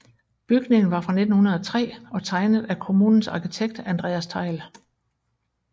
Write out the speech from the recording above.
Bygningen var fra 1903 og tegnet af kommunens arkitekt Andreas Thejll